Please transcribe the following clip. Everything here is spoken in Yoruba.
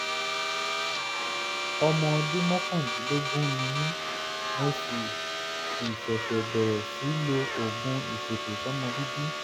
ọmọ ọdún mọ́kàndínlógún ni mí mo sì sì ṣẹ̀ṣẹ̀ bẹ̀rẹ̀ sí lo oògùn ìfètòsọ́mọbíbí